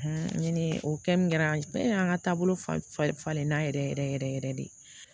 ni o kɛmu kɛra y'an ka taabolo falen na yɛrɛ yɛrɛ yɛrɛ de